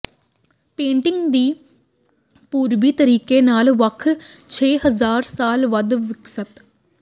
painting ਦੇ ਪੂਰਬੀ ਤਰੀਕੇ ਨਾਲ ਵੱਧ ਛੇ ਹਜ਼ਾਰ ਸਾਲ ਵੱਧ ਵਿਕਸਤ